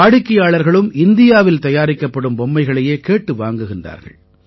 வாடிக்கையாளர்களும் இந்தியாவில் தயாரிக்கப்படும் பொம்மைகளையே கேட்டு வாங்குகிறார்கள்